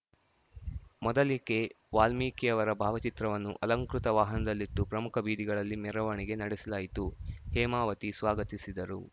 ಮೊದಲಿಗೆ ವಾಲ್ಮೀಕಿಯವರ ಭಾವಚಿತ್ರವನ್ನು ಅಲಂಕೃತ ವಾಹನದಲ್ಲಿಟ್ಟು ಪ್ರಮುಖ ಬೀದಿಗಳಲ್ಲಿ ಮೆರವಣಿಗೆ ನಡೆಸಲಾಯಿತುಹೇಮಾವತಿ ಸ್ವಾಗತಿಸಿದರು